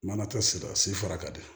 Mana tɛ siran sifa kadi